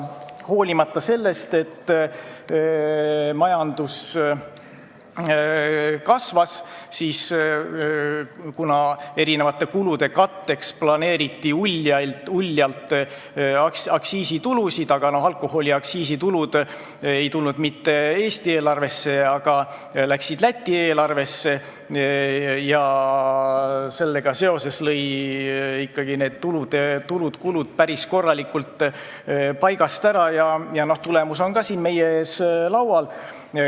Majandus küll kasvas, kuid kuna eri kulude katteks planeeriti uljalt aktsiisitulusid, aga alkoholiaktsiisitulud ei tulnud mitte Eesti eelarvesse, vaid läksid Läti eelarvesse, siis sellega seoses läksid ikkagi tulud ja kulud päris korralikult paigast ära ning tulemus on siin meie ees laual.